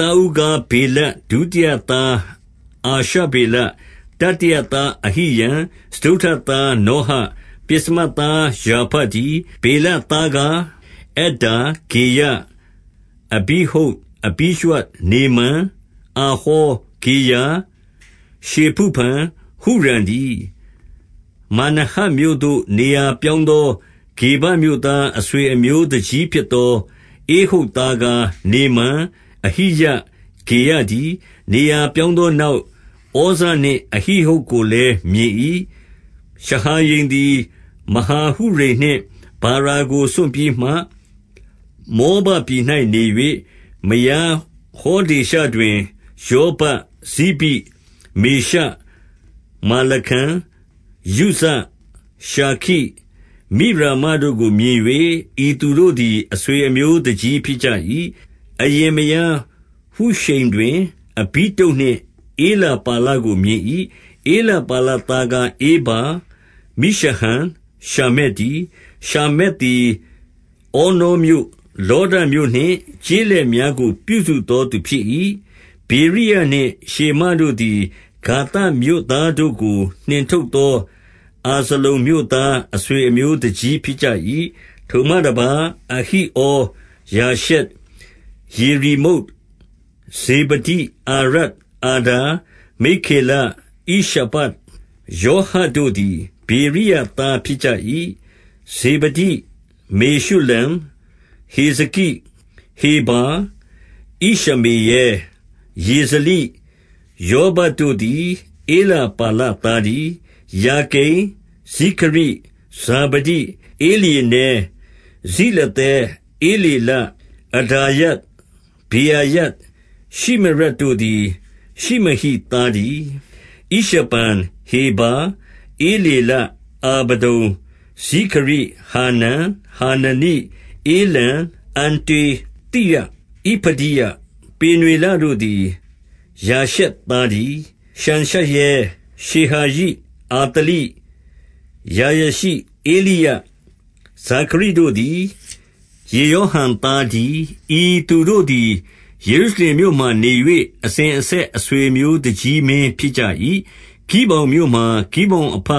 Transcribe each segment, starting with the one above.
သားဦးကား ဗေလ၊ ဒုတိယသား အာရှဗေလ၊ တတိယသားအဟိရံ၊ 2 စတုတ္ထသား နောဟ၊ ပဥ္စမသား ရာဖတည်း။ 3 ဗေလသားကား အဒ္ဒါ၊ ဂေရ၊ အဘိဟုဒ်၊ 4 အဘိရွှ၊ နေမန်၊ အာဟော၊ 5 ဂေရာ၊ ရှေဖုဖံ၊ ဟုရံတည်း၊ 6 မာနဟက်မြို့သို့ နေရာပြောင်းသော ဂေဗမြို့သား အဆွေအမျိုးသူကြီး ဖြစ်သော ဧဟုဒ်သားကား၊ နေမန်၊ အဟိယ၊ ဂေရတည်း။ 7 နေရာပြောင်းသောနောက်၊ ဩဇနှင့် အဟိဟုဒ် ကိုလည်း မြင်၏။ 8 ရှဟာရိမ်သည် မယားဟုရိမ်နှင့် ဗာရာကိုစွန့်ပြီး မှ၊ မောဘပြည်၌ နေ၍၊ 9 မယားဟောဒေရှတွင် ယောဗပ်၊ ဇိဘိ၊ မေရှ၊ မာလခံ၊ 10 ယုဇ၊ ရှာခိ၊ မိရမတို့ကို မြင်၍၊ ဤသူတို့သည် အဆွေအမျိုးသူကြီးဖြစ်ကြ၏။ 11 အရင်မယား ဟုရှိမ်တွင်၊ အဘိတုပ်နှင့် ဧလပါလကို မြင်၏။ 12 ဧလပါလသားကား ဧဗာ၊ မိရှဟံ၊ ရှာမက် တည်း။ ရှာမက်သည် ဩနောမြို့၊ လောဒမြို့နှင့် ကျေးလက်များကို ပြုစုသောသူဖြစ်၏။ 13 ဗေရိယနှင့် ရှေမတို့သည် ဂါသမြို့သားတို့ကို နှင်ထုတ်သော အာဇလုန်မြို့သား အဆွေအမျိုးသူကြီး ဖြစ်ကြ၏။ 14 ထိုမှတပါး၊ အဟိဩ၊ ရှာရှက်၊ ယေရိမုတ်၊ 15 ဇေဗဒိ၊ အာရဒ်၊ အာဒါ၊ 16 မိက္ခေလ၊ ဣရှပ၊ ယောဟတို့သည် ဗေရိယသား ဖြစ်ကြ၏။ 17 ဇေဗဒိ၊ မေရှုလံ၊ ဟေဇကိ၊ ဟေဗာ၊ 18 ဣရှမေရဲ၊ ယေဇလိ၊ ယောဗပ်တို့သည် ဧလပါလ သားတည်း။ 19 ယာကိမ်၊ ဇိခရိ၊ ဇာဗဒိ၊ 20 ဧလျေနဲ၊ ဇိလသဲ၊ ဧလေလ၊ 21 အဒါယ၊ ဗေရာယ၊ ရှိမရတ်တို့သည် ရှိမဟိ သားတည်း။ 22 ဣရှပန်၊ ဟေဗာ၊ ဧလေလ၊ 23 အာဗဒုန်၊ ဇိခရိ၊ ဟာနန်၊ 24 ဟာနနိ၊ ဧလံ၊ အန္တောသိယ၊ 25 ဣဖဒိယ၊ ပေနွေလတို့သည် ရှာရှက်သားတည်း။ 26 ရှံရှရဲ၊ ရှေဟာရိ၊ အာသလိ၊ 27 ယာရရှိ၊ ဧလိယ၊ ဇိခရိတို့သည် ယေရောဟံ သားတည်း။ 28 ဤသူတို့သည် ယေရုရှလင်မြို့မှာနေ၍၊ အစဉ် အဆက်အဆွေအမျိုးသူကြီးမင်းဖြစ်ကြ၏။ 29 ဂိဗောင်မြို့မှာ ဂိဗေါင်အဘ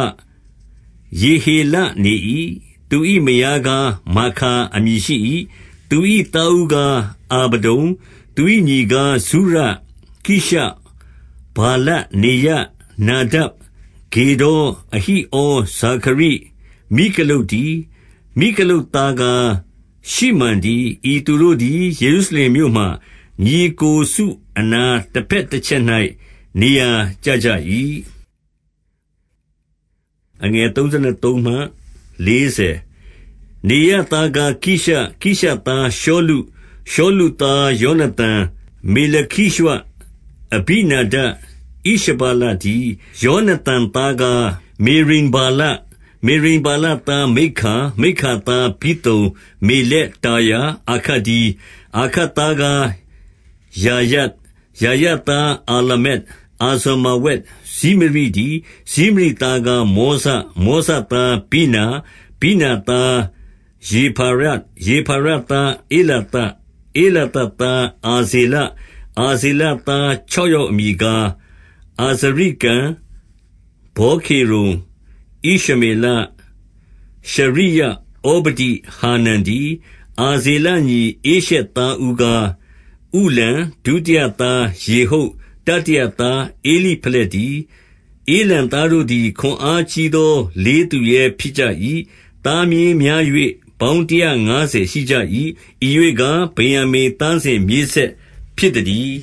ယေဟေလနေ၏။ သူ၏မယားကား မာခါအမည်ရှိ၏။ 30 သူ၏သားဦးကား အာဗဒုန်၊ သူ၏ညီကား ဇုရ၊ ကိရှ၊ ဗာလ၊ နေရ၊ နာဒပ်၊ 31 ဂေဒေါ်၊ အဟိဩ၊ ဇာခရိ၊ မိကလုတ်တည်း။ 32 မိကလုပ်သားကား ရှိမံတည်း။ ဤသူတို့သည် ယေရုရှင်လင်မြို့ မှာညီအစ်ကိုစုအနား၊ တဘက်တချက်၌ နေရာကျကြ၏။ 33 နေရသားကားကိရှ၊ ကိရှသားရှောလု၊ ရှောလု သား ယောနသန်၊ မေလခိရွှ၊ အဘိနာဒပ်၊ ဣရှဗာလ တည်း။ 34 ယောနသန်သားကား မေရိဗ္ဗာလ၊ မေရိဗ္ဗာလ သား မိက္ခာ၊ 35 မိက္ခာသား ပိသုန်၊ မေလက်၊ တာရာ၊ အာခတ် တည်း။ 36 အာခတ်သား ကားယာရ၊ ယာရသားအာလ မက်၊ အာဇမာဝက်၊ ဇိမရိတည်း၊ ဇိမရိသားကား မောဇ၊ 37 မောဇသားဗိနာ၊ ဗိနာသား ရေဖာယ၊ ရေဖာယ သား ဧလာသ၊ ဧလာသသား အာဇေလ၊ 38 အာဇေလသား ခြောက်ယောက်အမည်ကား အာဇရိကံ၊ ဗောခေရု၊ ဣရှမေလ၊ ရှရိယ၊ ဩဗဒိ၊ ဟာနန်တည်း။ 39 အာဇေလညီ ဧရှက်သားဦးကား ဥလံ၊ ဒုတိယ သား ယေဟုတ်၊ တတိယသား ဧလိဖလက်တည်း။ 40 ဥလံသားတို့သည် ခွန်အားကြီးသော လေးသူရဲ ဖြစ်ကြ၏။ သားမြေးများ၍ ပေါင်းတရာငါးဆယ်ရှိကြ၏။ ဤရွေ့ကား၊ ဗင်္ယာမိန်သားစဉ်မြေးဆက်ဖြစ်သတည်